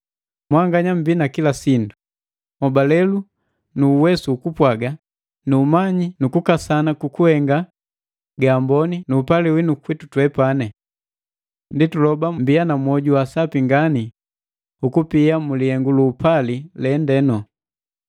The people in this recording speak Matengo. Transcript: Mwanganya mmbi na kila sindu; nhobalelu na uwesu ukupwaga nu umanyi na kukasana kukuhenga ga amboni nu upali witu kwitu. Ndi tuloba mbiya na mwoju wa asapi ngani ukupia mulihengu luupali lende.